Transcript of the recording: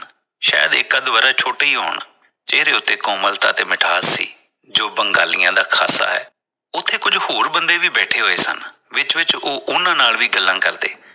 ਸ਼ਾਇਦ ਇਕ ਅੱਧ ਛੋਟੇ ਹੀ ਹੋਣ ਚਿਹਰੇ ਉਤੇ ਕੋਮਲਤਾ ਤੇ ਮਿਠਾਸ ਸੀ, ਜੋ ਬੰਗਾਲੀਆਂ ਦਾ ਖਾਸਾ ਹੈ ਉਥੇ ਕੁਝ ਹੋਰ ਬੰਦੇ ਵੀ ਬੈਠੇ ਹੋਏ ਸਨ। ਵਿਚ ਵਿਚ ਉਹ ਉਨ੍ਹਾਂ ਨਾਲ ਵੀ ਗੱਲਾਂ ਕਰਦੇ